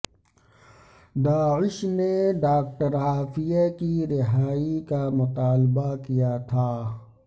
داعش نے ڈاکٹر عافیہ کی رہائی کا مطالبہ کیا تھا